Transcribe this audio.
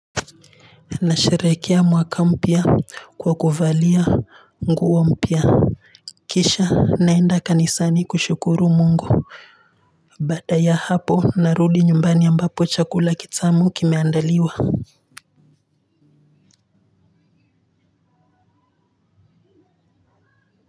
Na sherekea mwaka mpya kwa kuvalia nguo mpya kisha naenda kanisani kushukuru Mungu baada ya hapo narudi nyumbani ambapo chakula kitamu kimeandaliwa.